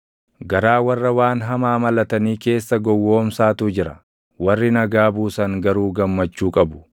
Garaa warra waan hamaa malatanii keessa // gowwoomsaatu jira; warri nagaa buusan garuu gammachuu qabu.